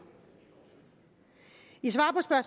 i svar